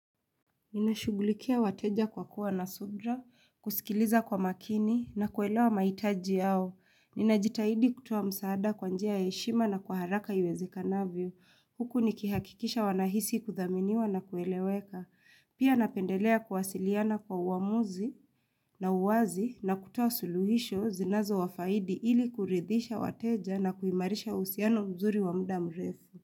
Ninashugulikia wateja kwa kuwa na sudra, kusikiliza kwa makini na kuelewa maitaji yao. Ninajitahidi kutowa msaada kwanjia yeshima na kuharaka ywezi kanavio. Huku nikihakikisha wanahisi kuthaminiwa na kueleweka. Pia napendelea kuwasiliana kwa uamuzi na uwazi na kutuwa suluhisho zinazo wafaidi ili kuridhisha wateja na kuimarisha usiano mzuri wa muda mrefu.